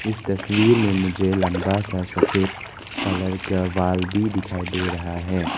इस तस्वीर में मुझे लंबा सा सफेद कलर का वॉल भी दिखाई दे रहा है।